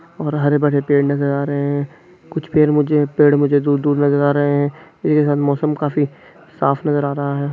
और हरे-भरे पेड़ नजर आ रहे हैं कुछ पेर मुझे पेड़ मुझे दूर-दूर नजर आ रहे हैं ये हर मौसम काफी साफ नजर आ रहा है।